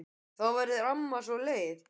Og þá verður amma svo leið.